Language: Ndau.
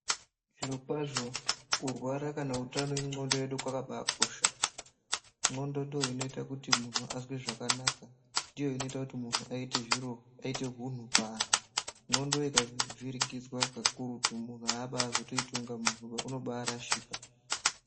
Zvirokwazvo kurwara kana utano wendxondo yedu kwakakosha. Ndxondo ndoinoita kuti muntu azwe zvakanaka, ndiyo inoita kuti munhu aite hunhu paanhu. Ndxondo ikavhiringidzwa pakurutu munhu azotoiti kunga munhuba, unobarashika.